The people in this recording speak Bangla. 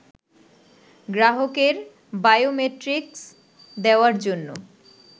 গ্রাহকের বায়োমেট্রিক্স দেওয়ার জন্য